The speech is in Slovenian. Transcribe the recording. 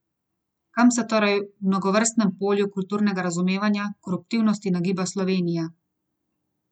Kam se torej v mnogovrstnem polju kulturnega razumevanja koruptivnosti nagiba Slovenija?